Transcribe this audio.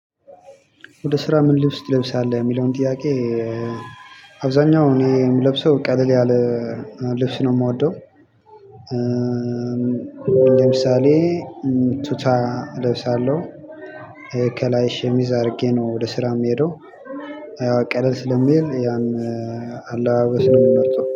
ወደ ስራ ምን ልብስ ትለብሳለህ? የሚለውን ጥያቄ አብዛኛው እኔ የምለብሰው ቀለል ያለ ልብስ ነው የምወደው ለምሳሌ፣ ቱታ ለብሳለሁ ከላይ ሸሚዝ አድርጌ ነው ወደ ስራ የምሄደው ያው ቀለል ስለሚል ያን አለባበስ ምመርጠው።